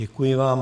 Děkuji vám.